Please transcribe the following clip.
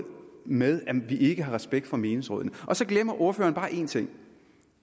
med at vi ikke har respekt for menighedsrådene så glemmer ordføreren bare en ting